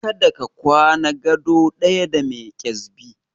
Kada ka kwana gado ɗaya da mai kyazbi!